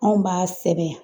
Anw b'a sɛbɛn